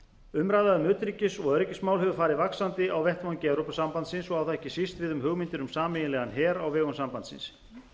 umræða um utanríkis og öryggismál hefur farið vaxandi á vettvangi evrópusambandsins og á það ekki síst við um hugmyndir um sameiginlegan her á vegum sambandsins